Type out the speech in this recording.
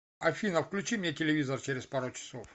афина включи мне телевизор через пару часов